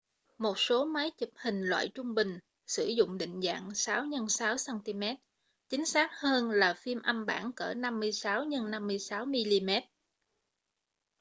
một số máy chụp hình loại trung bình sử dụng định dạng 6x6 cm chính xác hơn là phim âm bản cỡ 56x56 mm